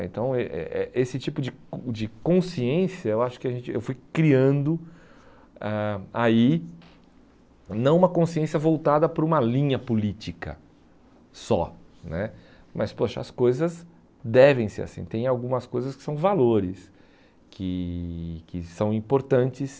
Então eh eh eh esse tipo de cons de consciência, eu acho que a gente eu fui criando ah aí, não uma consciência voltada para uma linha política só né, mas poxa as coisas devem ser assim, tem algumas coisas que são valores, que que são importantes.